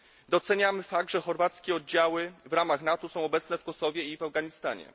Doceniamy fakt, że chorwackie oddziały w ramach NATO są obecne w Kosowie i w Afganistanie.